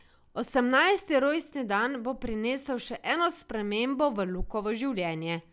Osemnajsti rojstni dan bo prinesel še eno spremembo v Lukovo življenje.